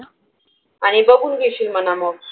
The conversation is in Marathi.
आणि बघून घेशील म्हणा मग.